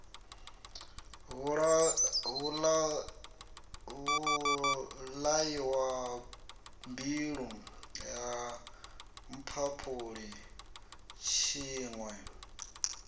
vhulaiwa mbilwi ha mphaphuli tshiṋwe